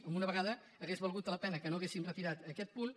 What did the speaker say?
per una vegada hauria valgut la pena que no haguessin retirat aquest punt